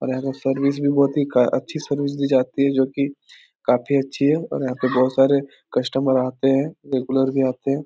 और यहाँ पे सर्विस भी बोहोत अच्छी सर्विस दी जाती है जो की काफी अच्छी है और यहाँ पर बोहोत सारे कस्टमर आते हैं रेगुलर भी आते हैं।